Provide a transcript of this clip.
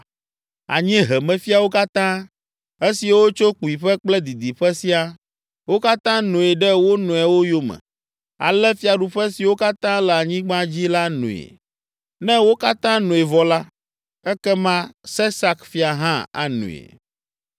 Anyiehemefiawo katã, esiwo tso kpuiƒe kple didiƒe siaa. Wo katã noe ɖe wo nɔewo yome, ale fiaɖuƒe siwo katã le anyigba dzi la noe. Ne wo katã noe vɔ la, ekema Sesak fia hã anoe.